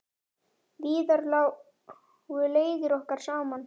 Víðar lágu leiðir okkar saman.